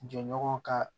Jɛɲɔgɔn ka